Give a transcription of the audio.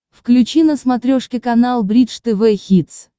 включи на смотрешке канал бридж тв хитс